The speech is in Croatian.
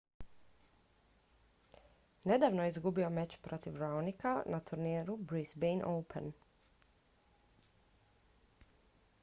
nedavno je izgubio meč protiv raonica na turniru brisbane open